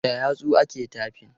Da yatsu ake taifin.